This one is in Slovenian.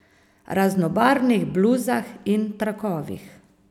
Raznobarvnih bluzah in trakovih.